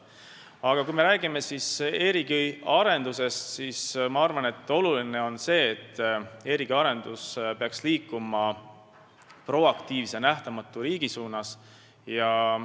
Aga kui me räägime e-riigi arendusest, siis oluline on see, et e-riigi arendus peaks liikuma proaktiivse nähtamatu riigi suunas.